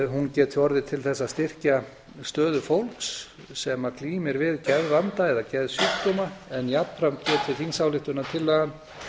hún geti orðið til þess að styrkja stöðu fólks sem glímir við geðvanda eða geðsjúkdóma en jafnframt geti þingsályktunartillagan